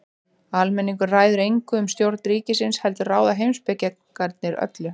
Almenningur ræður engu um stjórn ríkisins heldur ráða heimspekingarnir öllu.